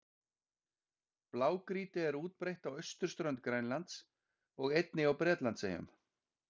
Blágrýti er útbreitt á austurströnd Grænlands og einnig á Bretlandseyjum.